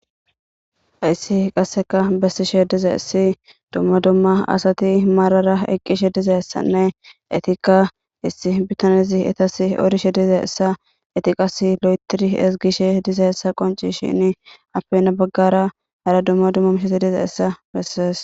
Hayssi qasekka beshisse dizayssi dumma dumma asati maarara eqqishe dizayssanne ettika issi bitanezi etasi odishe dizayssa eeti qassi loytidi ezgishe dizaysa qoncisishini aappe hani baggara hara dumma dumma miisheti dizayssa bessees.